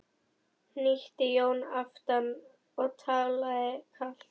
hnýtti Jón aftan við og talaði kalt.